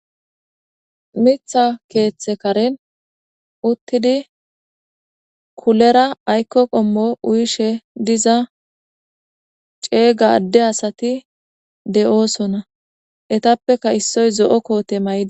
Mitha keeththe karen uttidi kulera aykko qommo uyishe diza ceeyga adde asati de'oosona etappeka issoy zo'o koote maydi